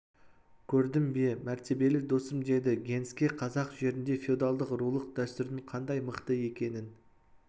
көрдің бе мәртебелі досым деді генске қазақ жерінде феодалдық рулық дәстүрдің қандай мықты екенін